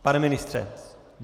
Pane ministře?